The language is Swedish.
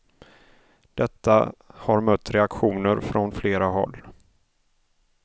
Detta har mött reaktioner från flera håll.